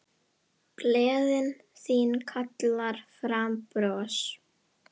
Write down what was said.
Gleðin þín kallar fram bros.